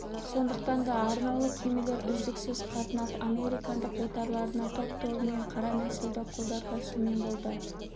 сондықтан да арнаулы кемелер үздіксіз қатынап американдық отарларына топ-тобымен қара нәсілді құлдар тасумен болды